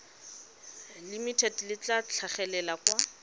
limited le tla tlhagelela kwa